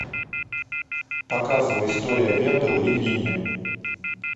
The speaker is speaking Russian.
показывай история венделла и винни